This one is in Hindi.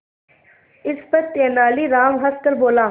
इस पर तेनालीराम हंसकर बोला